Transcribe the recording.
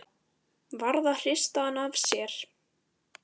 Varð að hrista hann af sér!